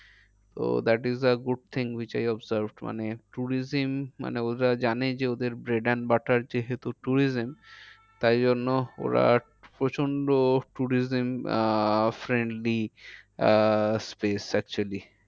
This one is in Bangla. ah space actually